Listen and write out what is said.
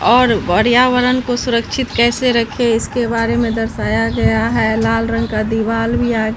और पर्यावरण को सुरक्षित कैसे रखें इसके बारे में दर्शाया गया है लाल रंग का दीवाल भी आ--